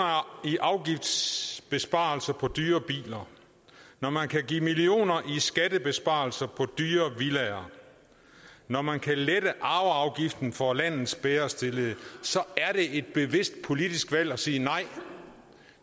i afgiftsbesparelser på dyre biler når man kan give millioner i skattebesparelser på dyre villaer når man kan lette arveafgiften for landets bedre stillede så er det et bevidst politisk valg at sige nej